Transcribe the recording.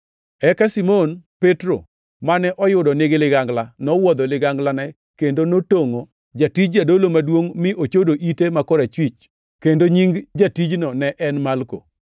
Eka Simon Petro, mane oyudo nigi ligangla, nowuodho liganglane kendo notongʼo jatij jadolo maduongʼ mi ochodo ite ma korachwich, kendo nying jatijno ne en Malko.